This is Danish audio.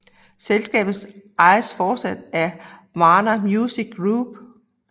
Selskabet ejes fortsat af Warner Music Group